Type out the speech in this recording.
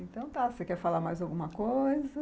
Então tá, você quer falar mais alguma coisa?